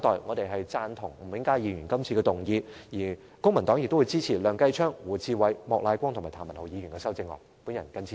公民黨贊同吳永嘉議員的原議案，並且支持梁繼昌議員、胡志偉議員、莫乃光議員及譚文豪議員提出的修正案。